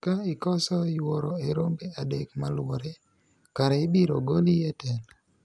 ka ikoso yuoro e rombe adek maluwore kare ibiro goli e telo